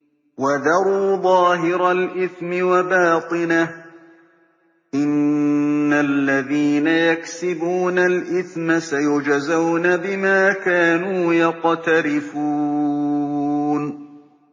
وَذَرُوا ظَاهِرَ الْإِثْمِ وَبَاطِنَهُ ۚ إِنَّ الَّذِينَ يَكْسِبُونَ الْإِثْمَ سَيُجْزَوْنَ بِمَا كَانُوا يَقْتَرِفُونَ